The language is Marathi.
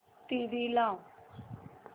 टीव्ही लाव